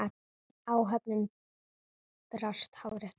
Áhöfnin brást hárrétt við.